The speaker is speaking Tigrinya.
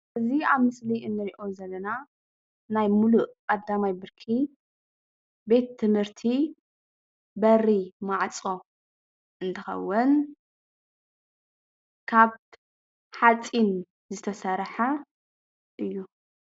እዚ አብ ምስሊ ንሪኦ ዘለና ናይ ሙሉእ ቀዳማይ ብርኪ ቤት ትምህርቲ በሪ ማዕፆ እንትኸውን ካብ ሓፂን ዝተሰርሐ እዩ።